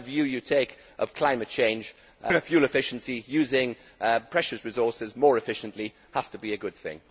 Whatever view you take of climate change, fuel efficiency using precious resources more efficiently has to be a good thing.